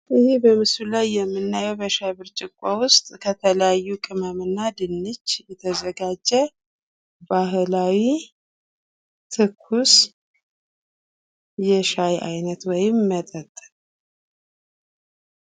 ይህ በምስሉ ላይ የምናየው በሻይ ብርጭቆ ውስጥ ከተለያዩ ቅመም እና ድንች የተዘጋጀ ባህላዊ ትኩስ የሻይ አይነት ወይም መጠጥ ነው።